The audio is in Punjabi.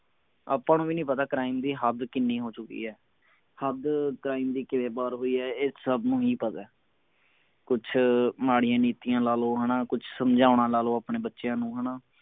ਆਪਾਂ ਨੂੰ ਵੀ ਨਹੀਂ ਪਤਾ crime ਦੀ ਹੱਦ ਕਿੰਨੀ ਹੋ ਚੁਕੀ ਹੈ ਹੱਦ crime ਦੀ ਕਿਵੇਂ ਪਾਰ ਹੋਈ ਹੈ ਇਹ ਸਭ ਨੂੰ ਹੀ ਪਤੇ ਕੁਛ ਮਾੜੀਆਂ ਨੀਤੀਆਂ ਲਾ ਲੋ ਹਣਾ ਕੁਛ ਸਮਝਾਉਣਾ ਲਾ ਲੋ ਆਪਣੇ ਬੱਚਿਆਂ ਨੂੰ ਹਣਾ